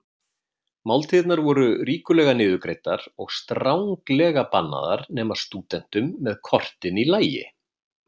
Máltíðirnar voru ríkulega niðurgreiddar og stranglega bannaðar nema stúdentum með kortin í lagi.